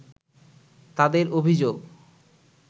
তাদের অভিযোগ